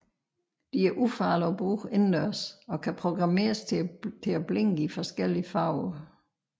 De er ufarlige at bruge indendørs og kan programmeres til at blinke i flere forskellige farver